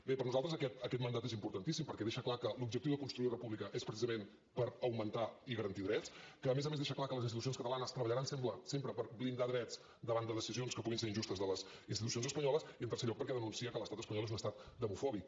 bé per nosaltres aquest mandat és importantíssim perquè deixa clar que l’objectiu de construir república és precisament per augmentar i garantir drets que a més a més deixa clar que les institucions catalanes treballaran sempre per blindar drets davant de decisions que puguin ser injustes de les institucions espanyoles i en tercer lloc perquè denuncia que l’estat espanyol és un estat demofòbic